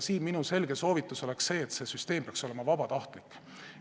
Minu selge soovitus on see, et see süsteem peaks olema vabatahtlik.